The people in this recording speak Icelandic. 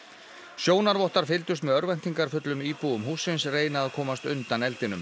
sjónarvottar fylgdust með örvæntingarfullum íbúum hússins reyna að komast undan eldinum